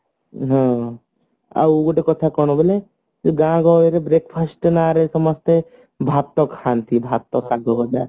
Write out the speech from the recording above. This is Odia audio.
ହଁ ଗୋଟେ କଥା କଣ ବୋଲେ ଗାଁ ଗହଳିରେ breakfast ନା ରେ ସମସ୍ତେ ଭାତ ଖାନ୍ତି ଭାତ ଶାଗ ହେଲା